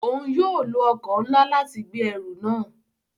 Òun yóò lo ọkọ nlá láti gbé ẹrù náà